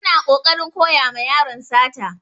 Suna kokarin koya ma yaron sata.